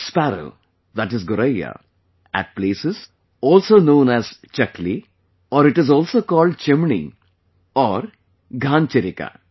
Sparrow that is Goraiya, at places is also known aschakali, or it is also calledchimni, orghanchirika